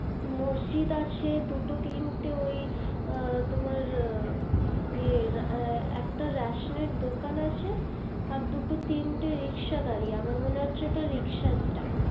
মজজিদ আছে দুটো তিনটে ওই তোমার একটা রেশনের দুকান আছে দুটো তিনটে riksha দাঁড়িয়ে আমার মনে হয় ওটা riksha staind